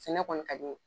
Sɛnɛ kɔni ka di n ye